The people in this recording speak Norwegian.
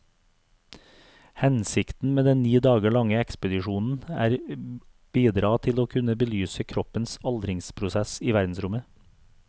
Hensikten med den ni dager lange ekspedisjonen er bidra til å kunne belyse kroppens aldringsprosess i verdensrommet.